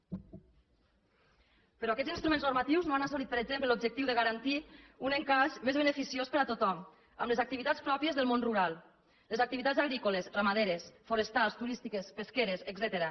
però aquests instruments normatius no han servit per exemple a l’objectiu de garantir un encaix més beneficiós per a tothom amb les activitats pròpies del món rural les activitats agrícoles ramaderes forestals turístiques pesqueres etcètera